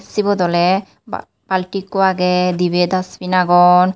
Sibot oley balti ekko agey dibey Dustbin agon.